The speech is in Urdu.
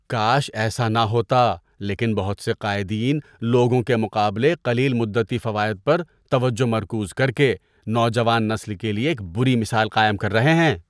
کاش ایسا نہ ہوتا لیکن بہت سے قائدین لوگوں کے مقابلے قلیل مدتی فوائد پر توجہ مرکوز کر کے نوجوان نسل کے لیے ایک بری مثال قائم کر رہے ہیں۔